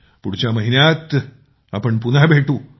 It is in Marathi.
पुढच्या महिन्यात आपण पुन्हा भेटू